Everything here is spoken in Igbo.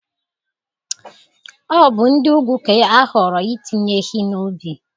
Ọ bụ ndị ugwu ga-ahọrọ itinye ehi n'ubi.